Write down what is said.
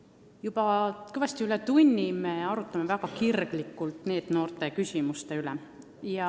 Oleme juba kõvasti üle tunni väga kirglikult arutanud NEET-noorte küsimusi.